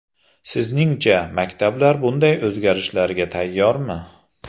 Sizningcha, maktablar bunday o‘zgarishlarga tayyormi?